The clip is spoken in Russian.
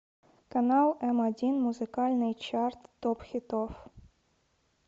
канал м один музыкальный чарт топ хитов